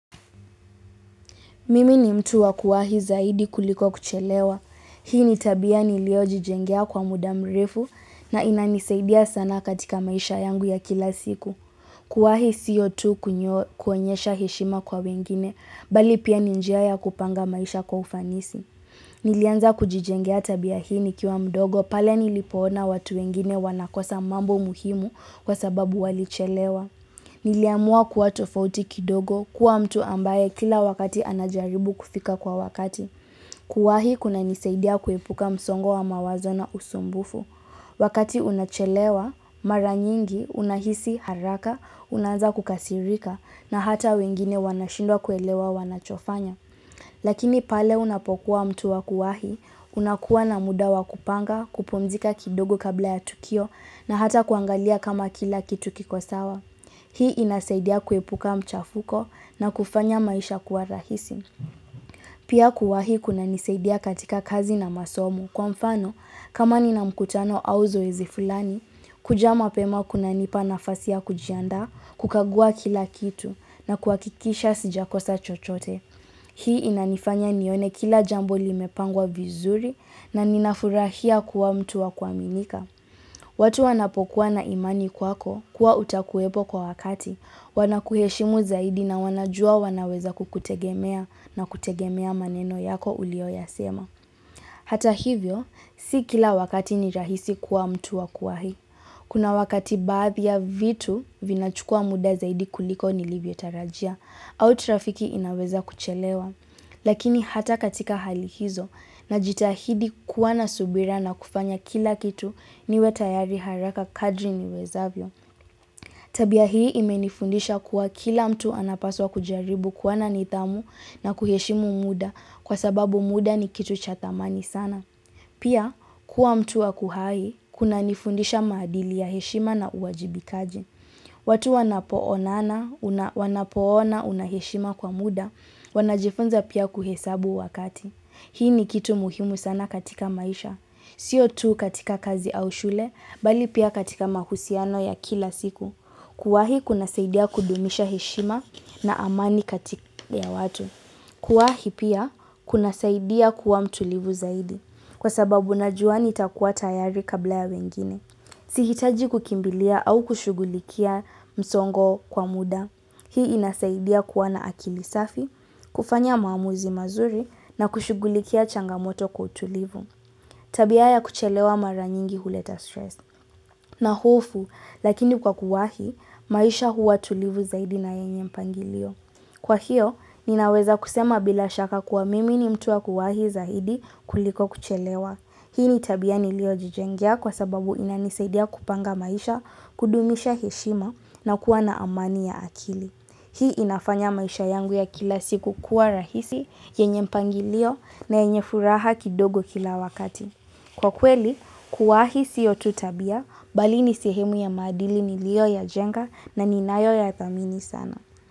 Mimi ni mtu wa kuwahi zaidi kuliko kuchelewa. Hii ni tabia niliojijengea kwa muda mrefu na inanisaidia sana katika maisha yangu ya kila siku. Kuwahi sio tu kuonyesha heshima kwa wengine, bali pia ni njia ya kupanga maisha kwa ufanisi. Nilianza kujijengea tabia hii nikiwa mdogo pale nilipoona watu wengine wanakosa mambo muhimu kwa sababu walichelewa. Niliamua kuwa tofauti kidogo kuwa mtu ambaye kila wakati anajaribu kufika kwa wakati. Kuwahi kunanisaidia kuepuka msongo wa mawazo na usumbufu. Wakati unachelewa, mara nyingi, unahisi, haraka, unaanza kukasirika, na hata wengine wanashindwa kuelewa wanachofanya. Lakini pale unapokuwa mtu wa kuwahi, unakuwa na mudawa kupanga, kupumzika kidogo kabla ya tukio, na hata kuangalia kama kila kitu kikosawa. Hii inasaidia kuepuka mchafuko na kufanya maisha kuwa rahisi. Pia kuwahi kuna nisaidia katika kazi na masomu. Kwa mfano, kama ni na mkutano au zoezi fulani, kujaa mapema kunanipa nafasi ya kujiandaa, kukagua kila kitu na kuakikisha sijakosa chochote. Hii inanifanya nione kila jambo limepangwa vizuri na ninafurahia kuwa mtu wa kuwaminika. Watu wanapokuwa na imani kwako kuwa utakuwepo kwa wakati. Wanakuheshimu zaidi na wanajua wanaweza kukutegemea na kutegemea maneno yako ulio yasema. Hata hivyo, si kila wakati ni rahisi kuwa mtu wa kuwahi. Kuna wakati baadhi ya vitu vinachukua muda zaidi kuliko nilivyo tarajia au trafiki inaweza kuchelewa. Lakini hata katika hali hizo na jitahidi kuwa na subira na kufanya kila kitu niwe tayari haraka kadri niwezavyo. Tabia hii imenifundisha kuwa kila mtu anapaswa kujaribu kuwa na nidhamu na kuheshimu muda kwa sababu muda ni kitu cha thamani sana. Pia kuwa mtu wakuhai kunanifundisha maadili ya heshima na uwajibikaji. Watu wanapoona unaheshima kwa muda, wanajifunza pia kuhesabu wakati. Hii ni kitu muhimu sana katika maisha. Sio tu katika kazi au shule, bali pia katika mahusiano ya kila siku. Kuwahi kuna saidia kudumisha heshima na amani katika ya watu. Kuwahi pia kuna saidia kuwa mtulivu zaidi. Kwa sababu najua nitakua tayari kabla ya wengine. Sihitaji kukimbilia au kushugulikia msongo kwa muda. Hii inasaidia kuwa na akili safi, kufanya maamuzi mazuri na kushugulikia changamoto kwa utulivu. Tabia ya kuchelewa maranyingi huleta stress. Na hofu, lakini kwa kuwahi, maisha huwa tulivu zaidi na yenye mpangilio. Kwa hiyo, ninaweza kusema bila shaka kuwa mimi ni mtu wa kuwahi zaidi kuliko kuchelewa. Hii ni tabia nilio jijengea kwa sababu inanisaidia kupanga maisha, kudumisha heshima na kuwa na amani ya akili. Hii inafanya maisha yangu ya kila siku kuwa rahisi, yenye mpangilio na yenye furaha kidogo kila wakati. Kwa kweli, kuwahi siyo tu tabia, bali ni sehemu ya madili nilio yajenga na ninayo yathamini sana.